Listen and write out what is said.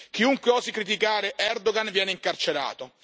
Chiunque osi criticare Erdogan viene incarcerato.